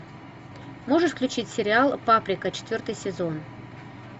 можешь включить сериал паприка четвертый сезон